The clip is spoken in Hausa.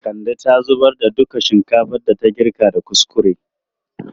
Kande ta zubar da duka shinkafan da ta girka da kuskure.